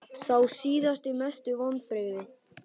Sá síðasti Mestu vonbrigði?